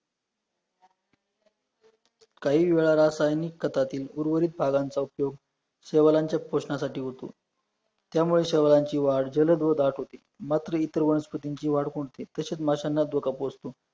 काही वेळा रासायनिक खतातील वुरवरीत पालानांचा उपयोग सेवांनांनच्या पोषणासाठी होतो, त्यामुळे शहरांची वाढ जलद व दाट होती मात्र इतर वनस्पतींची वाढ खुंटते, तसेच माशांना धोका पोहोचतो